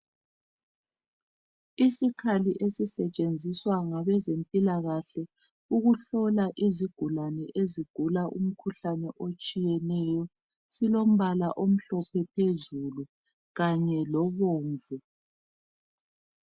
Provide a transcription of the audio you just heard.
Isikhali esisetshenziswa ngabezempilakahle ukuhlola izigulane ezigula umkhuhlane otshiyeneyo silombala omhlophe phezulu kanye lobomvu.